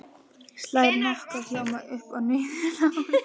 Slær nokkra hljóma upp og niður hálsinn.